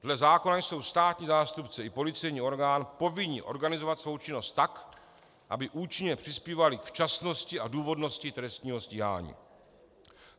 Dle zákona jsou státní zástupci i policejní orgán povinni organizovat svou činnost tak, aby účinně přispívali k včasnosti a důvodnosti trestního stíhání.